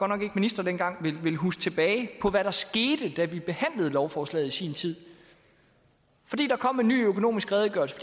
nok ikke minister dengang huske tilbage på hvad der skete da vi behandlede lovforslaget i sin tid fordi der kom en ny økonomisk redegørelse